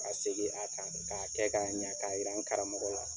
Ka segin a kan, k'a kɛ k'a ɲa, k'a yira n karamɔgɔ la.